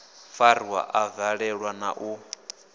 fariwa a valelwa na u